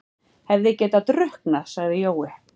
Hefði getað drukknað, sagði Jói.